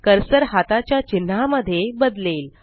cursor हाताच्या चिन्हा मध्ये बदलेल